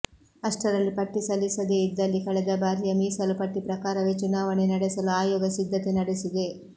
ಅಷ್ಟರಲ್ಲಿ ಪಟ್ಟಿ ಸಲ್ಲಿಸದೇ ಇದ್ದಲ್ಲಿ ಕಳೆದ ಬಾರಿಯ ಮೀಸಲು ಪಟ್ಟಿ ಪ್ರಕಾರವೇ ಚುನಾವಣೆ ನಡೆಸಲು ಆಯೋಗ ಸಿದ್ಧತೆ ನಡೆಸಿದೆ